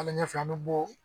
Ali ɲɛfɛ an be bɔ